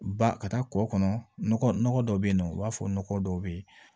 Ba ka taa kɔ kɔnɔ nɔgɔ dɔ bɛ yen nɔ i b'a fɔ nɔgɔ dɔw bɛ ye